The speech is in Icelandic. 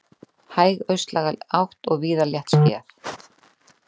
Hæg austlæg átt og víða léttskýjað